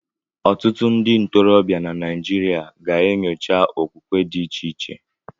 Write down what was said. Ọtụtụ ndị ntorobịa Naijiria ga-enyocha okwukwe dị iche iche.